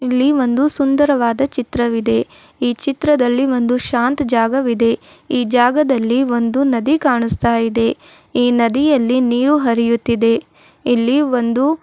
ಇಲ್ಲಿ ಒಂದು ಸುಂದರವಾದ ಚಿತ್ರವಿದೆ ಈ ಚಿತ್ರದಲ್ಲಿ ಒಂದು ಶಾಂತ್ ಜಾಗವಿದೆ ಈ ಜಾಗದಲ್ಲಿ ಒಂದು ನದಿ ಕಾಣಿಸ್ತಾ ಇದೆ ಈ ನದಿಯಲ್ಲಿ ನೀಯು ಹರಿಯುತ್ತಿದೆ ಇಲ್ಲಿ ಒಂದು--